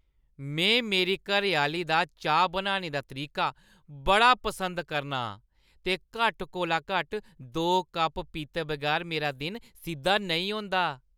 में मेरी घरैआह्‌ली दा चाह् बनाने दा तरीका बड़ा पसंद करना आं ते घट्ट कोला घट्ट दो कप पीते बगैर मेरा दिन सिद्ध नेईं होंदा।